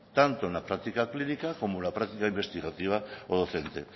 tanto en la práctica clínica como en la práctica investigativa o docente